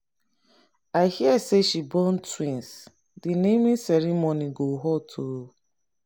i hear say she born twins. the naming ceremony go hot oo